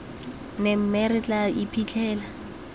ne mme re tla iphitlhela